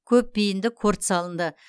көпбейінді корт салынды